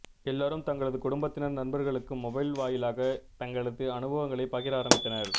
எல்லோரும் தங்களது குடும்பத்தினர் நண்பர்களுக்கு மொபைல் வாயிலாக தங்களது அனுபவங்களை பகிர ஆரம்பித்தனர்